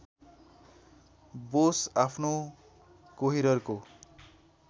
बोस आफ्नो कोहिररको